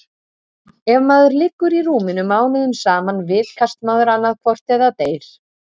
Ef maður liggur í rúminu mánuðum saman vitkast maður annaðhvort eða deyr.